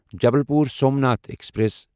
Jabalpur Somnath express